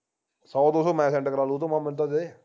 ਸੋ ਦੋ ਸੋ ਮੈਂ send ਕਰਾ ਲੂੰ ਉਹ ਤੋ ਮੈਂ ਤੇ